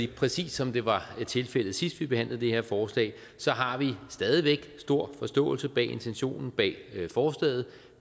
præcis som det var tilfældet sidst vi behandlede det her forslag har vi stadig væk stor forståelse for intentionen bag forslaget